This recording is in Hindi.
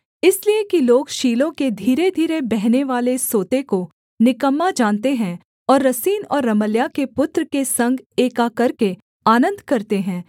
इसलिए कि लोग शीलोह के धीरे धीरे बहनेवाले सोते को निकम्मा जानते हैं और रसीन और रमल्याह के पुत्र के संग एका करके आनन्द करते हैं